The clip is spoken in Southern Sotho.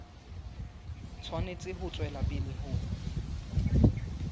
tshwanetse ho tswela pele ho